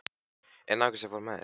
En náunginn sem fór með þér?